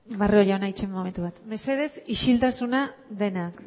barrio jauna itxaron momentu bat mesedez isiltasuna denak